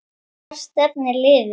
Hvert stefnir liðið?